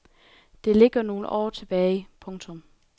Det ligger nogle år tilbage. punktum